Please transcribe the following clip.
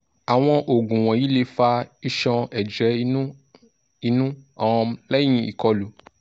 awọn oogun wọnyi le fa iṣọn-ẹjẹ inu inu um lẹhin ikọlu